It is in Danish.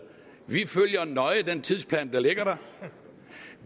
vi følger nøje den tidsplan der ligger der